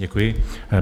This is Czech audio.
Děkuji.